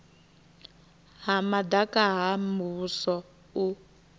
ha madaka ha muvhuso u